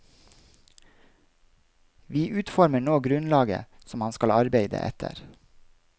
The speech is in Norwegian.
Vi utformer nå grunnlaget som han skal arbeide etter.